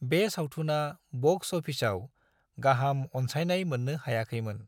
बे सावथुना बक्स अफिसआव गाहाम अनसाइनाय मोननो हायाखैमोन।